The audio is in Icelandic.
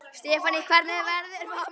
Stefánný, hvernig verður veðrið á morgun?